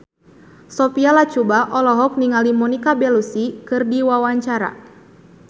Sophia Latjuba olohok ningali Monica Belluci keur diwawancara